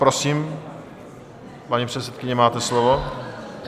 Prosím, paní předsedkyně, máte slovo.